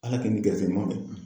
Ala k'e ni gɛrɛsɛgɛ ɲumanw bɛn